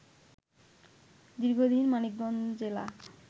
দীর্ঘদিন মানিকগঞ্জ জেলা